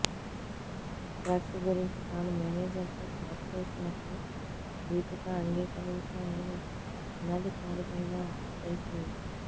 drugs గురించి తాను మేనేజర్తో ఛాట్ చేసినట్లు దీపిక అంగీకరించారని అనధికారికంగా తెలిసింది